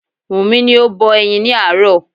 Wumi ni o bọ ẹyin ni aaro